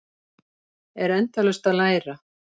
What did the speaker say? Er endalaust að læra